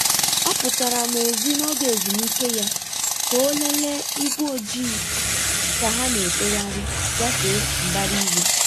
Ọ pụtara n'èzí n'oge ezumike ya ka ọ lelee igwe ojii ka ha na-efegharị gafee mbara igwe.